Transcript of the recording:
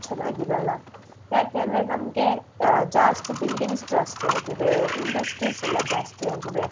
ಚೆನ್ನಾಗಿರಲ್ಲ ಯಾಕೆಂದ್ರೆ ನಮ್ಗೆ ಜಾಸ್ತಿ buildings ಜಾಸ್ತಿ ಆಗಿದೆ industries ಎಲ್ಲ ಜಾಸ್ತಿ ಆಗಿದೆ